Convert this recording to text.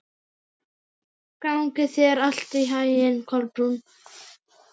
Gangi þér allt í haginn, Kolbrún.